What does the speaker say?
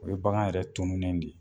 O ye bagan yɛrɛ tuunen de ye.